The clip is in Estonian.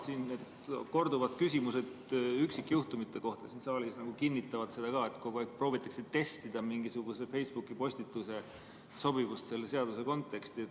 Siin saalis korduvad küsimused üksikjuhtumite kohta nagu kinnitavad seda, et proovitakse testida mingisuguse Facebooki postituse sobivust selle seaduse konteksti.